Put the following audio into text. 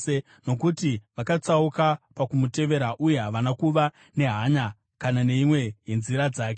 nokuti vakatsauka pakumutevera uye havana kuva nehanya kana neimwe yenzira dzake.